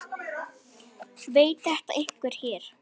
Veit þetta einhver hér?